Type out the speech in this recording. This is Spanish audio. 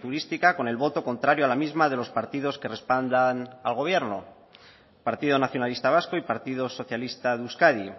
turística con el voto contrario a la misma de los partidos que respaldan al gobierno partido nacionalista vasco y partido socialista de euskadi